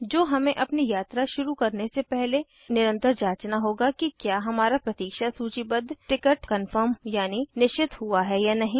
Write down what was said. जो हमें अपनी यात्रा शुरू करने से पहले निरंतर जांचना होगा कि क्या हमारा प्रतीक्षा सूचीबद्ध टिकट कन्फर्म यानि निश्चित हुआ है या नहीं